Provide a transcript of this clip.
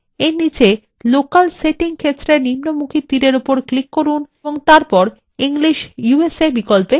arrow নিচে local setting ক্ষেত্রের নিম্নমুখী তীরের উপর click করুন এবং তারপর english usa বিকল্পে click করুন